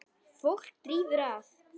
Fólk drífur að.